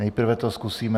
Nejprve to zkusíme...